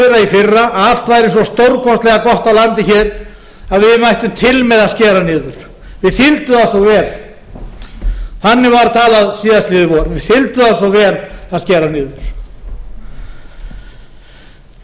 í fyrra að allt væri svo stórkostlega gott á landi hér að við mættum til með að skera niður þeir fylgdu okkur vel þannig var talað síðastliðið vor við vel að skera niður nú þarf hins